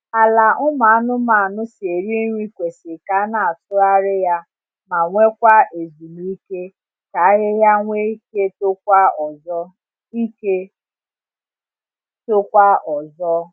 Ala ụmụ anụmanụ si eri nri kwesị k’ana atugharị ya ma nwe kwa ezumike ka ahịhịa nwe ike tokwa ọzọ ike tokwa ọzọ